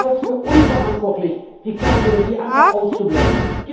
Ich halte es für unverantwortlich, die Kernenergie einfach auszublenden.